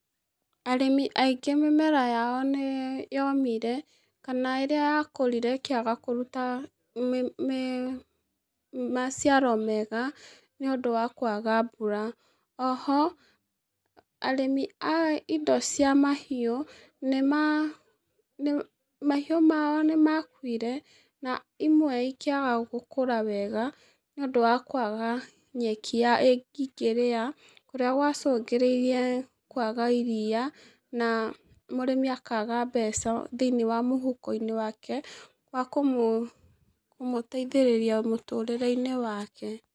Arĩmi aingĩ mĩmera yao nĩyomire, kana ĩrĩa yakũrire ĩkĩaga kũruta wĩ mĩ maciaro mega nĩũndũ wa kwaga mbura, oho, arĩmi a indo cia mahiũ, nĩma, ma, mahiũ mao nĩmakuire, na imwe ikĩaga gũkũra wega nĩũndũ wa kwaga nyeki i ĩngĩrĩo, kũrĩa gwacũngĩrĩirie kwaga iria, na, mũrĩmi akaga mbeca thĩ-inĩ wa mũhuko-inĩ wake wakũmũ, kũmũteithĩrĩria mũtũrĩre-inĩ wake.